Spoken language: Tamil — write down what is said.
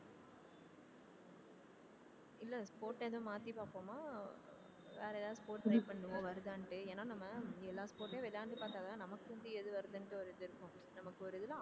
இல்லை sport ஏதும் மாத்தி பார்ப்போமா ஆஹ் வேற எதாவது sports பண்ணுவோம் வருதான்னுட்டு ஏன்னா நம்ம எல்லா sport ஐயும் விளையாண்டு பார்த்தாதான் நமக்குண்டு எது வருதுன்னுட்டு ஒரு இது இருக்கும் நமக்கு ஒரு